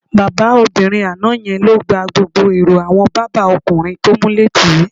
Bábà obìnrin àná ye̩n ló gba gbogbo èrò àwo̩n bàbá o̩kùnrin tó múlé tì í